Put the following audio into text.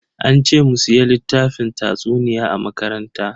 An ce mu siya littafin tatsuniya a makaranta.